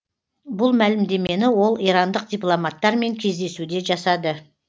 бұл мәлімдемені ол ирандық дипломаттармен кездесуде жасады